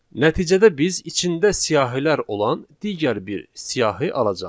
Nəticədə biz içində siyahılar olan digər bir siyahı alacağıq.